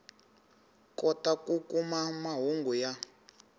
kotaka ku kuma mahungu ya